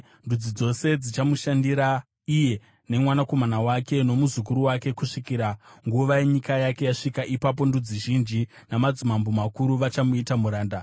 Ndudzi dzose dzichamushandira, iye nemwanakomana wake, nomuzukuru wake, kusvikira nguva yenyika yake yasvika; ipapo ndudzi zhinji namadzimambo makuru vachamuita muranda.